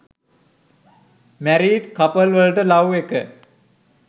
married couple වලට love එක